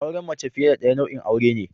Auren mace fiye da daya nau'in aure ne.